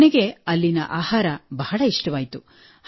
ನನಗೆ ಅಲ್ಲಿನ ಆಹಾರ ಬಹಳ ಇಷ್ಟವಾಯಿತು